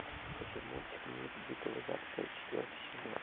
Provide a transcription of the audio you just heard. хочу мультик мир дикого запада четвертый сезон